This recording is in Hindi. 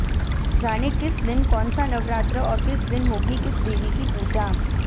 जानें किस दिन कौनसा नवरात्र और किस दिन होगी किस देवी की पूजा